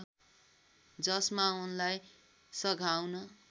जसमा उनलाई सघाउन